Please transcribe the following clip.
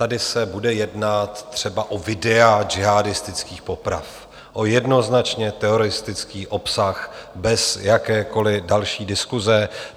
Tady se bude jednat třeba o videa džihádistických poprav, o jednoznačně teroristický obsah bez jakékoliv další diskuse.